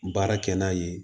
Baara kɛ n'a ye